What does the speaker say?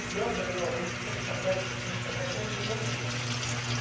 Então, eu falei, não, eu vou para o Centro Itaquera, porque o Centro Itaquera tem um monte de gente.